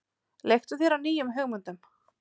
Leiktu þér að nýjum hugmyndum.